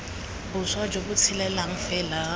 boswa jo bo tshelang fela